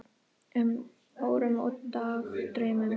um, órum og dagdraumum.